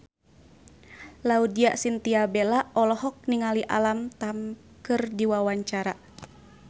Laudya Chintya Bella olohok ningali Alam Tam keur diwawancara